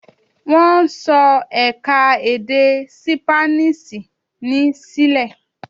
Wọ́n ń sọ ẹ̀ka-èdè Sípáníṣì ní Ṣile.